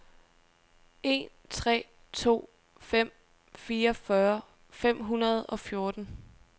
en tre to fem fireogfyrre fem hundrede og fjorten